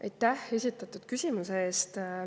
Aitäh esitatud küsimuse eest!